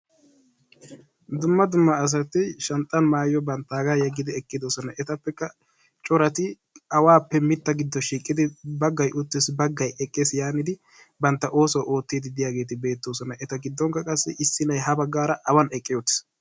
Dumma dumma asati shanxxan bantaagaa maayuwa yeggidi eqqidosona. Etappekka corati awaappe mita giddo shiiqidi bagay uttiis, bagay eqqis yaanidi bantta oosuwa ootiidi giyaageeti beetoosona, eta giddon issinay ha bagaara awan eqqi uttiis.